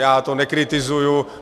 Já to nekritizuji.